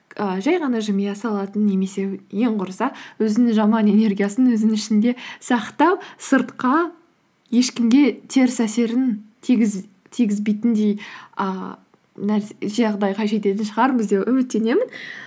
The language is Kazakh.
ііі жай ғана жымия салатын немесе ең құрыса өзінің жаман энергиясын өзінің ішінде сақтап сыртқа ешкімге теріс әсерін тигізбейтіндей ііі жағдайға жететін шығармыз деп үміттенемін